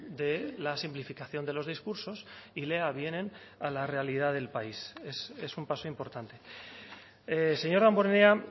de la simplificación de los discursos y le avienen a la realidad del país es un paso importante señor damborenea